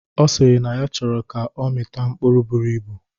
Ọ sịrị na ya chọrọ ka ọ mita mkpụrụ buru ibu